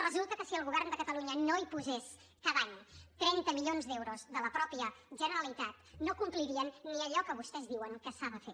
resulta que si el govern de catalunya no hi posés cada any trenta milions d’euros de la mateixa generalitat no complirien ni allò que vostès diuen que s’ha de fer